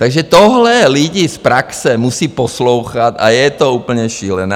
Takže tohle lidi z praxe musí poslouchat a je to úplně šílené.